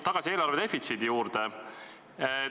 Tagasi eelarvedefitsiidi juurde!